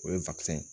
O ye ye